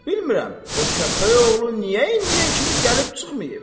Bilmirəm o kəpəyoğlu niyə indiyə kimi gəlib çıxmayıb.